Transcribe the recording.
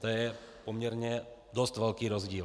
To je poměrně dost velký rozdíl.